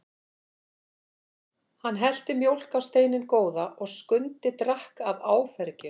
Hann hellti mjólk á steininn góða og Skundi drakk af áfergju.